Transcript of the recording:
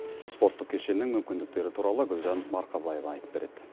спорттық кешеннің мүмкіндіктері туралы гүлжан марқабаева айтып береді